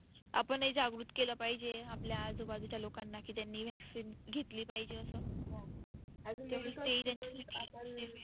आपणही जागृत केल पाहिजे आपल्या आजुबाजूच्या लोकांना की त्यांनी vaccine घेतली पाहिजे असं हो